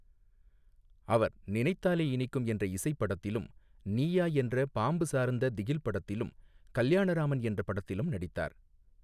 அவர் நினைத்தாலே இனிக்கும் என்ற இசைப் படத்திலும், நீயா என்ற பாம்பு சார்ந்த திகில் படத்திலும், கல்யாணராமன் என்ற படத்திலும் நடித்தார்.